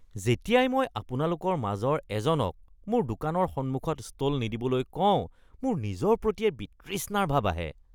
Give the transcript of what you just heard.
যেতিয়াই মই আপোনালোকৰ মাজৰ এজনক মোৰ দোকানৰ সন্মুখত ষ্টল নিদিবলৈ কওঁ, মোৰ নিজৰ প্ৰতিয়েই বিতৃষ্ণাৰ ভাৱ আহে। (দোকানী)